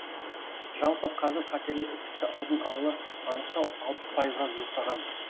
жалпы қазір қатерлі ісікті алдын ала анықтау алпыс пайызға жуықтаған